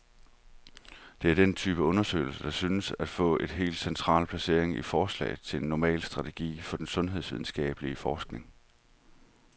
Det er denne type undersøgelser, der synes at få et helt central placering i forslaget til en normal strategi for den sundhedsvidenskabelig forskning.